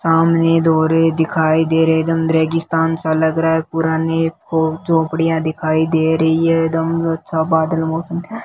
सामने दौरे दिखाई दे रहे है एदम रेगिस्तान सा लग रहा है पुराने फो झोपड़ियां दिखाई दे रही है एदम अच्छा बादल मौसम --